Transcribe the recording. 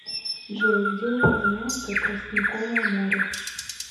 джой где упоминается тростниковое море